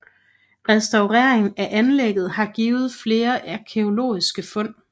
Restaureringen af anlægget har givet flere arkæologiske fund